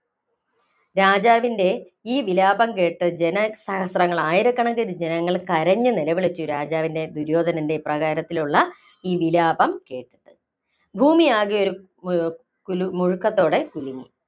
രാജാവിന്‍റെ ഈ വിലാപം കേട്ട് ജനസഹസ്രങ്ങള്‍ ആയിരക്കണക്കിന് ജനങ്ങള്‍ കരഞ്ഞു നിലവിളിച്ചു, രാജാവിന്‍റെ ദുര്യോധനന്‍റെ ഇപ്രകാരത്തിലുള്ള ഈ വിലാപം കേട്ട്. ഭൂമിയാകെ ഒരു മുഴക്കത്തോടെ കുലുങ്ങി.